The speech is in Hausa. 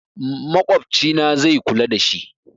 Makwabcina zai kula dashi